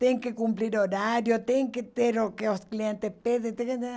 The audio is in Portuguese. Tem que cumprir horário, tem que ter o que os clientes pedem